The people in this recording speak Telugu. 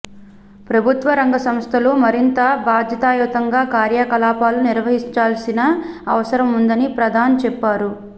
ప్రభుత్వ రంగ సంస్థలు మరింత బాధ్యతాయుతంగా కార్యకలాపాలు నిర్వర్తించాల్సిన అవసరం ఉందని ప్రధాన్ చెప్పారు